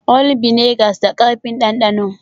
All vinegars da karfi m dandano